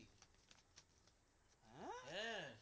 হ্যাঁ